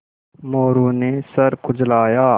मोरू ने सर खुजलाया